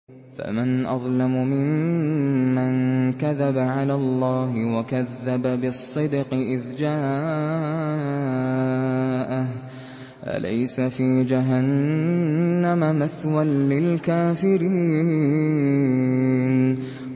۞ فَمَنْ أَظْلَمُ مِمَّن كَذَبَ عَلَى اللَّهِ وَكَذَّبَ بِالصِّدْقِ إِذْ جَاءَهُ ۚ أَلَيْسَ فِي جَهَنَّمَ مَثْوًى لِّلْكَافِرِينَ